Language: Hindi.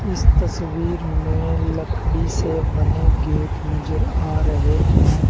इस तस्वीर में लकड़ी से बने गेट नजर आ रहे हैं।